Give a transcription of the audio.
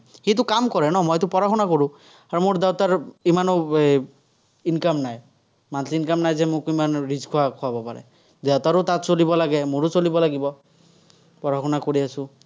সিটো কাম কৰে , মইটো পঢ়া-শুনা কৰোঁ। আৰু মোৰ দেউতাৰ ইমানো income নাই। monthly income নাই যে মোক rich খোৱা খুৱাব পাৰে। দেউতাৰো তাত চলিব লাগে, মোৰো চলিব লাগিব। পঢ়া-শুনা কৰি আছোঁ।